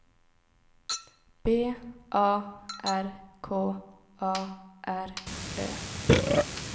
B A R K A R Ö